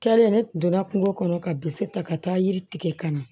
Kɛlen ne tun donna kungo kɔnɔ ka bisi ta ka taa yiri tigɛ ka na